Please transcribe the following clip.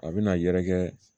A bɛna yɛrɛkɛ